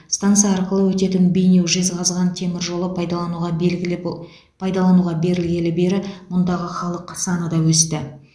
станса арқылы өтетін бейнеу жезқазған темір жолы пайдалануға белгілібо пайдалануға берілгелі бері мұндағы халық саны да өсті